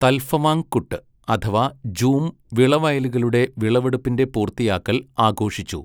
തൽഫവാങ് കുട്ട് അഥവാ ജൂം വിളവയലുകളുടെ വിളവെടുപ്പിൻ്റെ പൂർത്തിയാക്കൽ ആഘോഷിച്ചു.